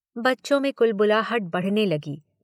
बच्चों में कुलबुलाहट बढ़ने लगी।